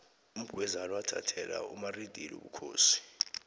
umgwezani wathathela umaridili ubukhosi